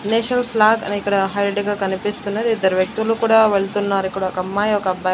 National flag అని ఇక్కడ highlight గా కనిపిస్తున్నది ఇద్దరు వ్యక్తులు కూడా వెళ్తున్నారు ఇక్కడ ఒక అమ్మాయి ఒక అబ్బాయి .